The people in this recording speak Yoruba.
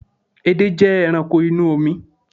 Edé jẹ́ ẹranko inú omi